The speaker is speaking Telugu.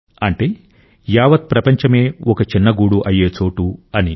అంటే యావత్ ప్రపంచమే ఒక చిన్న గూడు అయ్యే చోటు అని